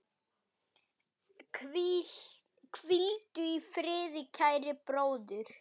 Hvíldu í friði, kæri bróðir.